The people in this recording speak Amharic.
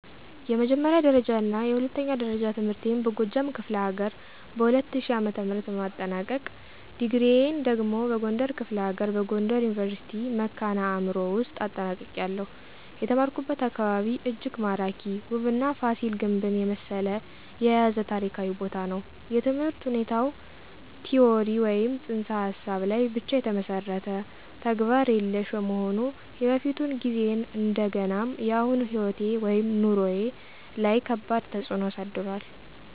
የመጀመሪያ ደረጃና የሁለተኛ ደረጃ ትምህርቴን በጎጃም ክፍለ ሀገር በ2000 ዓ.ም በማጠናቀቅ፤ ዲግሪየን ደግሞ በጎንደር ክፍለ ሀገር በጎንደር ዩኒቨርሲቲ ( መካነ አዕምሮ ) ውውስጥ አጠናቅቄያለሁ። የተማርኩበት አካባቢ እጅግ ማራኪ፣ ውብና ፋሲል ግንብን የመሰለ የያዘ ታሪካዊ ቦታ ነው። የትምህርት ሁኔታው ቲዎሪ ወይም ፅንሰ ሀሳብ ላይ ብቻ የተመሠረተ፣ ተግባር የሌሽ በመሆኑ የበፊቱን ጊዜዬን እንደገናም የአሁኑ ሕይወቴ/ኑሮዬ ላይ ከባድ ተፅእኖ አሳድሯል።